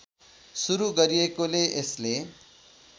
सुरु गरिएकोले यसले